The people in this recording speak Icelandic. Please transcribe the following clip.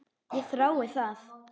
Ég þrái það.